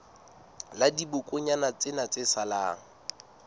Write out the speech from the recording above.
la dibokonyana tsena tse salang